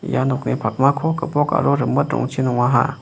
ia nokni pakmako gipok aro rimit rongchi nongaha.